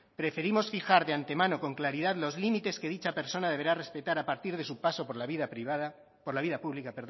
preferimos fijar de ante mano con claridad los límites que dicha persona deberá respetar a partir de su paso por la vida pública